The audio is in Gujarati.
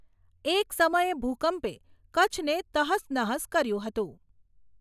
એક સમયે ભૂકંપે કચ્છને તહશ નહશ કર્યું હતું.